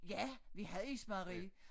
Ja vi havde ismejeri